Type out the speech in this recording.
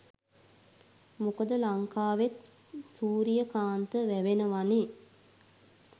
මොකද ලංකාවෙත් සුරියකාන්ත වැවෙනවනේ?